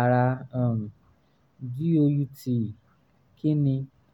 ara um gout kí ni?